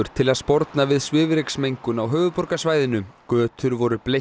til að sporna við svifryksmengun á höfuðborgarsvæðinu götur voru